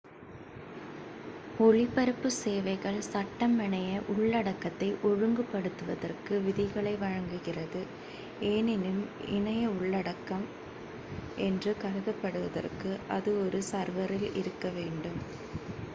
ஒளிபரப்பு சேவைகள் சட்டம் இணைய உள்ளடக்கத்தை ஒழுங்குபடுத்துவதற்கு விதிகளை வழங்குகிறது எனினும் இணைய உள்ளடக்கம் என்று கருதப்படுவதற்கு அது ஒரு சர்வரில் இருக்க வேண்டும்